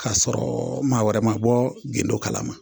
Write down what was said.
K'a sɔrɔ maa wɛrɛ ma bɔ gindo kala ma.